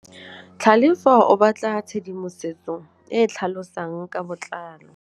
Tlhalefô o batla tshedimosetsô e e tlhalosang ka botlalô.